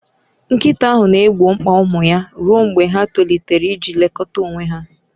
Nkịta ahụ na-egbo mkpa ụmụ ya ruo mgbe ha tolitere iji lekọta onwe ha